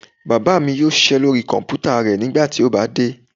Bàbá mi yóò ṣiṣẹ́ lóri kọ̀mpútà rẹ̀ nígbà tí ó bá dé